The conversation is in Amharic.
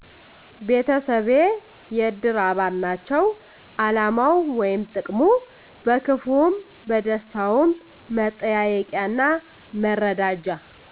ቤተሰቤ የእድር አባል ናቸዉ አላማዉ ወይም ጥቅሙ በክፍዉም በደስታዉም መጠያየቂያና መረዳጃ